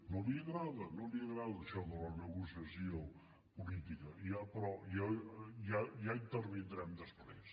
no li agrada no li agrada això de la negociació política ja però ja intervindrem després